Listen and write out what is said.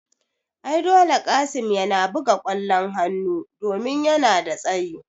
Ai dole Qassim yana buga kwallon hanu domin yana da tsayi